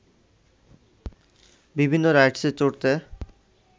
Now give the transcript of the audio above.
বিভিন্ন রাইডসে চড়তে